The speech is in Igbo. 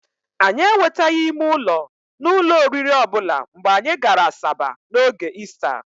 Anyị enwetaghị ime ụlọ n'ụlọ oriri ọbụla mgbe anyị gara Asaba n'oge Ista.